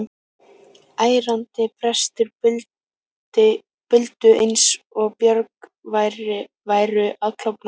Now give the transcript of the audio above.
Ærandi brestir buldu eins og björg væru að klofna.